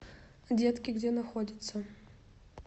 детки где находится